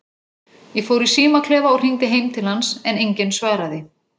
Ég fór í símaklefa og hringdi heim til hans, en enginn svaraði.